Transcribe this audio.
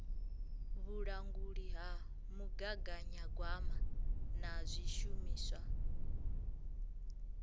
vhulanguli ha mugaganyagwama na zwishumiswa